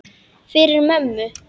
Fyrir mömmu.